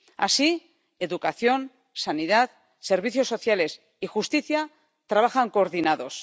Así, educación, sanidad, servicios sociales y justicia trabajan coordinados.